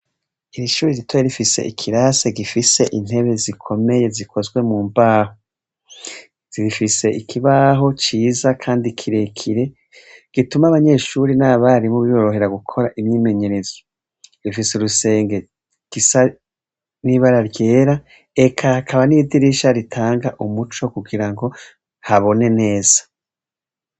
Ishuri ritoya rifise ikirase gifise intebe zikomeye zikozwe mu mbaho zibifise ikibaho ciza, kandi kirekire gituma abanyeshuri n'abarimu biborohera gukora imyimenyerezo rifise urusenge gisa n'ibara ryera eka akaba n'iridirisha ritanga umuco kugira ngo habone neza.